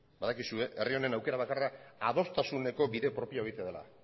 badakizue herri honen aukera bakarra adostasuneko bide propioa egitea dela